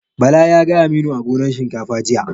Bala ya ga Aminu a gonan shinkafa jiya.